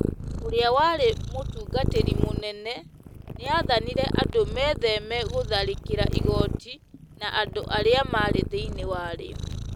Ũrĩa warĩ mũtungatĩri mũnene nĩ aathanire andũ metheme gũtharĩkĩra igooti na andũ arĩa marĩ thĩinĩ warĩo,